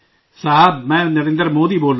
میں نریندر مودی بول رہا ہوں